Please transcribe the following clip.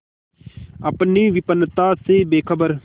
अपनी विपन्नता से बेखबर